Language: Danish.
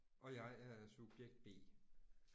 Og jeg er subjekt B